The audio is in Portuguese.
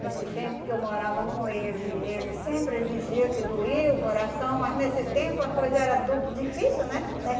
Nesse tempo que eu morava com ele, ele sempre dizia que doía o coração, mas nesse tempo a coisa era tudo difícil, né?